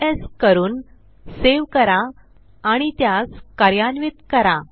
Ctrl S करून save करा आणि त्यास कार्यान्वित करा